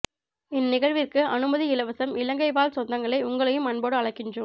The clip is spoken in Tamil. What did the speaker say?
இந்நிகழ்விற்கு அனுமதி இலவசம் இலங்கை வாழ் சொந்தங்களே உங்களையும் அன்போடு அழைக்கின்றோம்